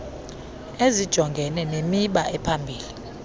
ezijongene nemiba ephambili